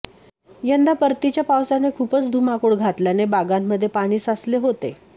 यंदा परतीच्या पावसाने खुपच धुमाकूळ घातल्याने बागांमध्ये पाणी साचले होते